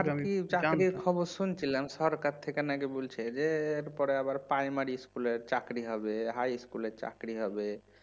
আর কি চাকরির খবর শুনছিলাম সরকার থেকে নাকি বলছে যে এরপরে আবার প্রাইমারি ইস্কুলের চাকরি হবে হাই স্কুলের চাকরি হবে